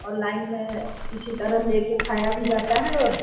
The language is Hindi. और लाइन मे इसी तरह लेके खाया भी जाता है और --